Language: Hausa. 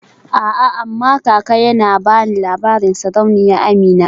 A'a amma kaka yana bani labarin tatsuniyar Sarauniya Amina.